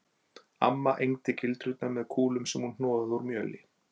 Amma egndi gildrurnar með kúlum sem hún hnoðaði úr mjöli